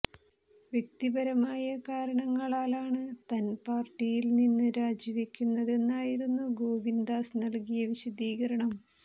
വ്യക്തിപരമായ കാരണങ്ങളാലാണ് തൻ പാർട്ടിയിൽ നിന്ന് രാജി വയ്ക്കുന്നതെന്നായിരുന്നു ഗോവിന്ദാസ് നൽകിയ വിശദീകരണം